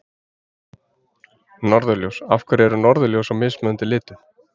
Norðurljós Af hverju eru norðurljós í mismunandi litum?